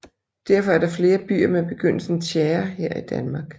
Derfor er der flere byer med begyndelsen tjære her i Danmark